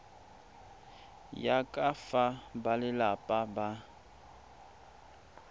ya ka fa balelapa ba